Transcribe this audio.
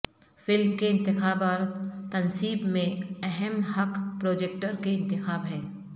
film کے انتخاب اور تنصیب میں اہم حق پروجیکٹر کے انتخاب ہے